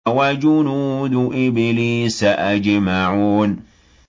وَجُنُودُ إِبْلِيسَ أَجْمَعُونَ